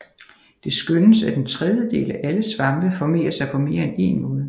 Det skønnes at en tredjedel af alle svampe formerer sig på mere end en måde